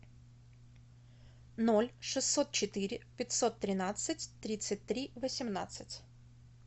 ноль шестьсот четыре пятьсот тринадцать тридцать три восемнадцать